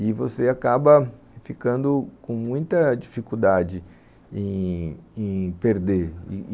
E você acaba ficando com muita dificuldade em em perder.